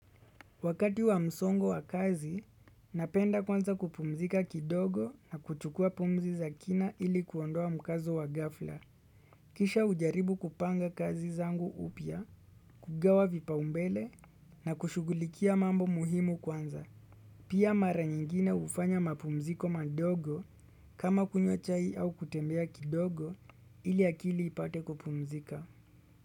Wakati wa msongo wa kazi, napenda kwanza kupumzika kidogo na kuchukua pumzi za kina ili kuondoa mkazo wa ghafla. Kisha hujaribu kupanga kazi zangu upya kugawa vipaombele na kushughulikia mambo muhimu kwanza. Pia mara nyingine hufanya mapumziko madogo kama kunywa chai au kutembea kidogo ili akili ipate kupumzika.